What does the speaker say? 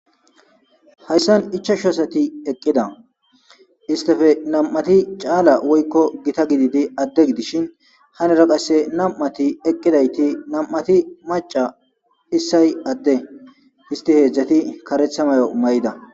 Hayssan ichashu asati eqqida istefe nam'ati caala woykko gita gididi adde gidishin hanera qasse nam'ati eqqidayti nam'ati maca issay adde histi heedzdzati karetha mayo may'ida.